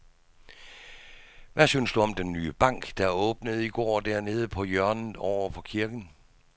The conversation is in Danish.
Hvad synes du om den nye bank, der åbnede i går dernede på hjørnet over for kirken?